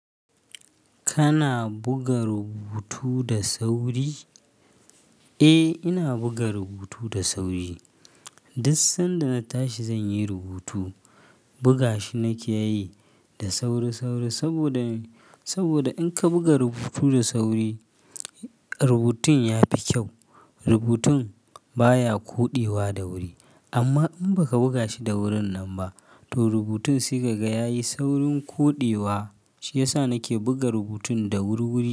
Kana buga rubutu da sauri? Eh ina buga rubutu da sauri. Duk sanda na tashi zan yi rubutu, buga shi nake yi da sauri sauri saboda, saboda in ka buga rubutu da sauri rubutun ya fi kyau. Rubutun baya koɗewa da wuri amma in baka buga shi da wurin nan ba to rubutun sai kaga ya yi saurin koɗewa. Shi yasa nake buga rubutun da wur wuri.